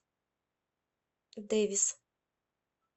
дэвис